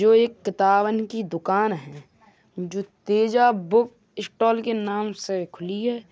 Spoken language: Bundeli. जो एक किताबन की दुकान है जो तेजा बुक स्टॉल के नाम से खुली है।